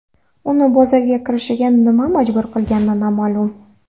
Uni bozorga kirishga nima majbur qilgani noma’lum.